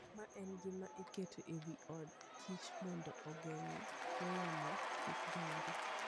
Ma en gima iketo e wi od kich mondo ogeng'go yamo kik donj.